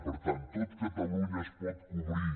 per tant tot catalunya es pot cobrir